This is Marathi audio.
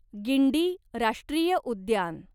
गिंडी राष्ट्रीय उद्यान